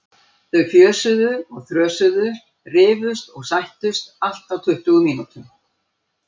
Þau fjösuðu og þrösuðu, rifust og sættust, allt á tuttugu mínútum.